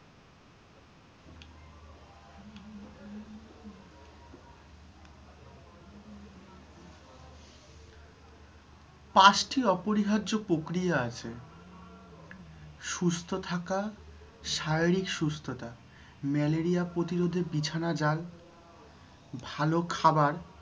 পাঁচটি অপরিহার্য প্রক্রিয়া আছে। সুস্থ থাকা, শারীরিক সুস্থতা, malaria প্রতিরোধে বিছানা জাল, ভাল খাবার